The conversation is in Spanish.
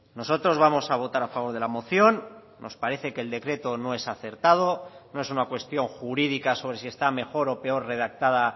nosotros vamos a votar a favor de la moción nos parece que el decreto no es acertado no es una cuestión jurídica sobre si está mejor o peor redactada